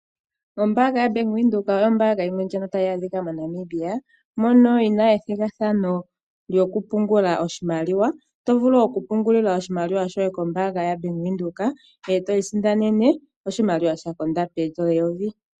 Ombaanga yabank Windhoek oyo ombaanga yimwe ndjono tayi adhika moNamibia mono yina ethigathano lyokupungula oshimaliwa oto vulu okupungula oshmaliwa shoye kombaanga yaBank Windhoek eto isindanene oshimaliwa sha konda poondola eyovi.